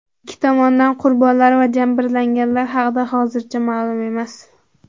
Ikki tomondan qurbonlar va jabrlanganlar haqida hozircha ma’lum emas.